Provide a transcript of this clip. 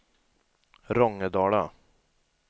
Rångedala